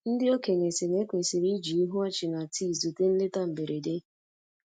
Ndị okenye sị na- ekwesịrị i ji ihu ọchị na tii zute nleta mberede.